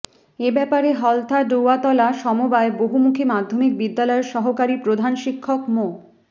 এ ব্যাপারে হলতা ডৌয়াতলা সমবায় বহুমুখী মাধ্যমিক বিদ্যালয়ের সহকারী প্রধান শিক্ষক মো